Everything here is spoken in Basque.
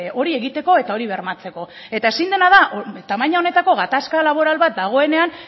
hori egiteko eta hori bermatzeko eta ezin dena da tamaina honetako gatazka laboral bat dagoenean